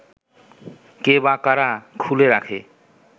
কে বা কারা খুলে রাখে